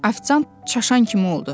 Afisant çaşan kimi oldu.